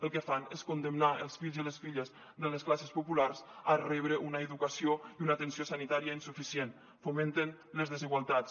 el que fan és condemnar els fills i les filles de les classes populars a rebre una educació i una atenció sanitària insuficient fomenten les desigualtats